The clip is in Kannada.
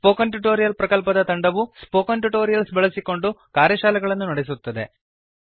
ಸ್ಪೋಕನ್ ಟ್ಯುಟೋರಿಯಲ್ ಪ್ರಕಲ್ಪದ ತಂಡವು ಸ್ಪೋಕನ್ ಟ್ಯುಟೋರಿಯಲ್ಸ್ ಬಳಸಿಕೊಂಡು ಕಾರ್ಯಶಾಲೆಗಳನ್ನು ನಡೆಸುತ್ತದೆ